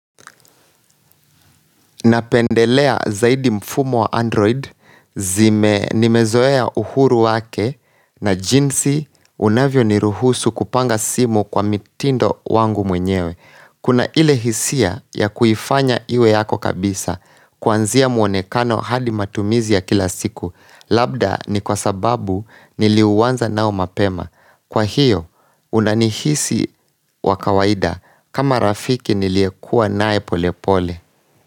Napendelea zaidi mfumo wa android nimezoea uhuru wake na jinsi unavyo ni ruhusu kupanga simu kwa mitindo wangu mwenyewe. Kuna ile hisia ya kuifanya iwe yako kabisa kuanzia muonekano hadi matumizi ya kila siku labda ni kwa sababu niliuanza nao mapema. Kwa hiyo unanihisi wakawaida kama rafiki niliekua naye pole pole.